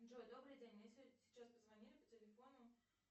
джой добрый день мне сейчас позвонили по телефону